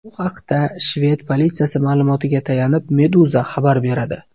Bu haqda shved politsiyasi ma’lumotiga tayanib, Meduza xabar beradi .